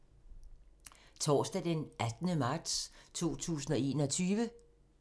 Torsdag d. 18. marts 2021